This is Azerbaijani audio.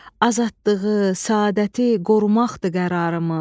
Azadlığı, səadəti qorumaqdır qərarımız.